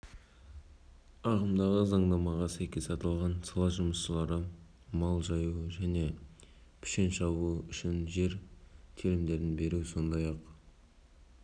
парламент мәжілісінің пленарлық отырысында премьер-министрінің орынбасары ауыл шаруашылығы министрі мырзахметов депутаттардың орман аңшылық және балық шаруашылықтары